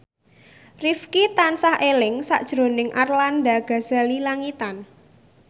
Rifqi tansah eling sakjroning Arlanda Ghazali Langitan